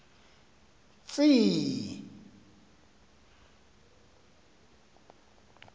tsi i i